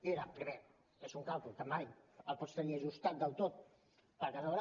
era primer és un càlcul que mai el pots tenir ajustat del tot perquè has de veure